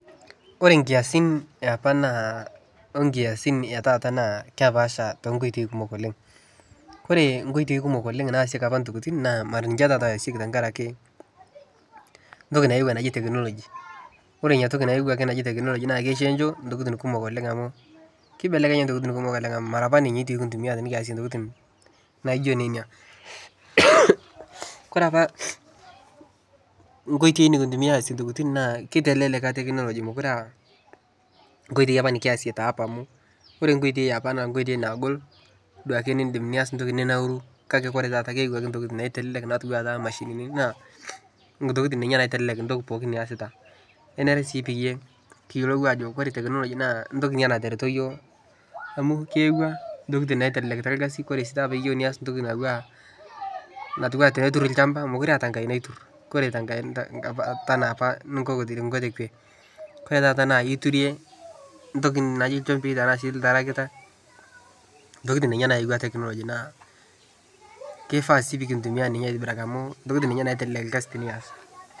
Oree inkiasin aepa naa oonkiasin etaata naa kepaasha tonkoitoi kumok oleng' ore inkoitoi kumok oleng' naasieki apa intokiting' naa maa ninche taata eyasieki tenkaraki entoki nayewuo naji technology oree Ina toki nayawuaki najii technology naa keiko intokiting' kumok onleng' amu keibelekenya intokiting' kumok oleng' amuu nikintumia tenekiyasie intokiting' najo nena koree apa inkoitoi nikintumia aasie intokiting naa keitalelek technology mekuree aa onkoitoi nekiyasie teapa amu oree inkoitoi eapa naa inkoitoi naagol naake niidim nias entoki ninauru kake ore taata keu ake etoiki naitalelek enaa imashinini intokiting ninnye intoki pooki niyasita nenare sii peyiee kiyolou ajoo oree technology naa entoki natareto iyook amuu keyawua intokiting' naiteleleka irkasin oree sii pee iyeu naayau naa tiatu alchampa mekuree eyata enaa apa ninkoko oree taata naa keiturie iltarakita ntokiting' ninye nayawua technology